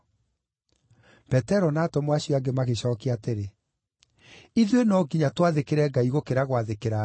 Petero na atũmwo acio angĩ magĩcookia atĩrĩ, “Ithuĩ no nginya twathĩkĩre Ngai gũkĩra gwathĩkĩra andũ!